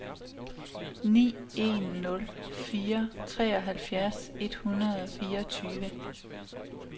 ni en nul fire treoghalvfjerds et hundrede og fireogtyve